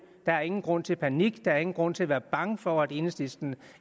der er ingen grund til panik der er ingen grund til at være bange for at enhedslisten